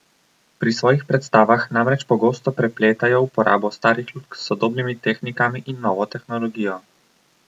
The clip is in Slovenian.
Pri svojih predstavah namreč pogosto prepletajo uporabo starih lutk s sodobnimi tehnikami in novo tehnologijo.